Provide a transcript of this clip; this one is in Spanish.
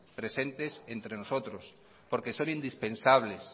presentes entre nosotros porque son indispensables